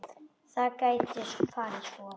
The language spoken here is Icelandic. Það gæti farið svo.